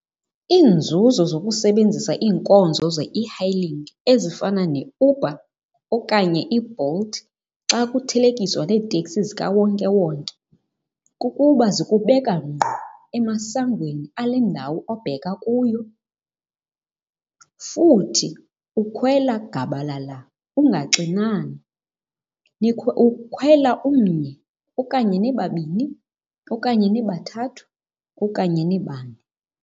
Iinzuzo zokusebenzisa iinkonzo ze-e-hailing ezifana neUber okanye iBolt xa kuthelekiswa neeteksi zikawonkewonke kukuba zikubeka ngqo emasangweni ale ndawo obheka kuyo. Futhi ukhwela gabalala ungaxinani. Ukhwela umnye, okanye nibabini, okanye nibathathu, okanye nibane.